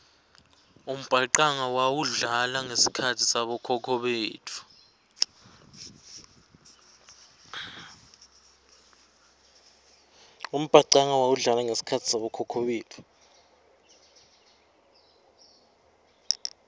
umbhacanga wawudlala ngesikhatsi sabokhokho betfu